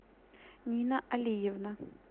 нина алиевна